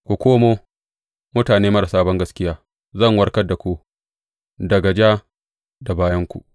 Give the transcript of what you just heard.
Ku komo, mutane marasa bangaskiya; zan warkar da ku daga ja da bayanku.